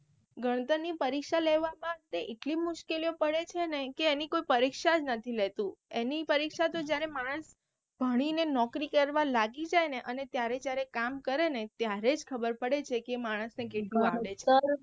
ગણતર ની પરીક્ષા લેવા માટે એટલી મુશ્કેલીઓ પડે છેને કે એની કોઈ પરીક્ષા જ નથી લેતું એની પરીક્ષા તો જયારે માણસ ભણી ને નોકરી કરવા લાગી જાય ને અને જયારે જયારે કામ કરે ને ત્યારેજ ખબર પડે છે કે એ માણસ ને કેટલું આવડે છે.